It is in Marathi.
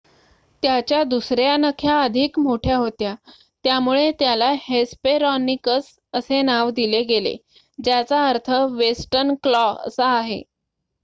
"त्याच्या दुसर्‍या नख्या अधिक मोठ्या होत्या त्यामुळे त्याला हेस्पेरोनिकस असे नाव दिले गेले ज्याचा अर्थ "वेस्टर्न क्लॉ" असा आहे.